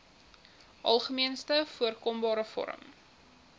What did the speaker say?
algemeenste voorkombare vorm